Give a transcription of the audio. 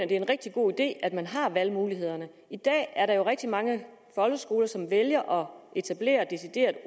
at det er en rigtig god idé at man har valgmulighederne i dag er der jo rigtig mange folkeskoler som vælger etablere deciderede